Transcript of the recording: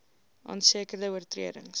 aan sekere oortredings